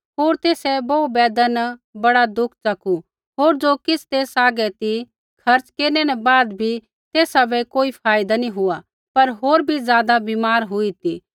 होर तेसै बोहू वैदा न बड़ा दुख च़कू होर ज़ो किछ़ तेसा हागै ती खर्च़ केरनै न बाद भी तेसा बै कोई फायदा नी हुआ पर होर भी ज़ादा बीमार हुई ती